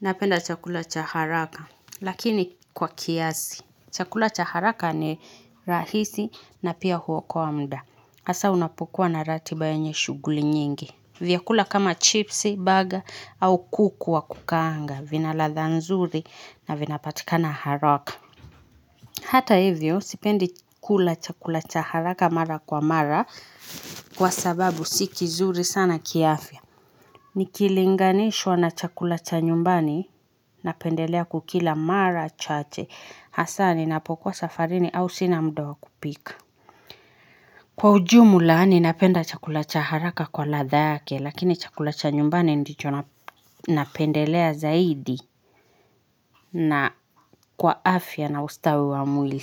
napenda chakula cha haraka, lakini kwa kiazi. Chakula cha haraka ni rahisi na pia huokoa muda. Asa unapukua na rati bayanye shuguli nyingi. Vyakula kama chipsi, baga au kuku wa kukanga. Vina ladha nzuri na vinapatika na haraka. Hata hivyo, sipendi kula chakula cha haraka mara kwa mara kwa sababu sikizuri sana kiafya. Nikilinganishwa na cha kulacha nyumbani napendelea kukila mara chache hasa ni napokuwa safarini au sina muda kupika Kwa ujumu laani ninapenda cha kulacha haraka kwa ladha yake lakini chakulacha nyumbani ndicho napendelea zaidi na kwa afya na ustawi wa mwili.